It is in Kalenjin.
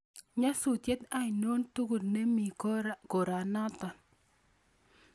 Nyasutiet ainon tugul nemi koranatan